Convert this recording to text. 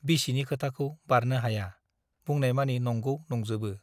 बिसिनि खोथाखौ बारनो हाया , बुंनायमानि नंगौ नंजोबो ।